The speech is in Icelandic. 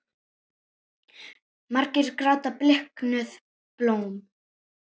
Margir gráta bliknuð blóm.